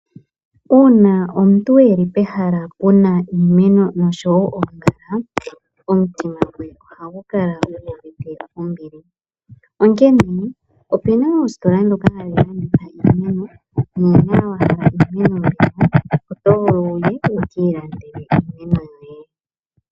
Uuna aantu yeli pehala puna iimeno noshowoo oongala, omutima gwe ohagu kala guuvite ombili . Onkene opuna oositola ndhoka hadhi landitha iimeno, nuuna wahala iimeno yoye oto vulu wukiilandele iimeno yoye.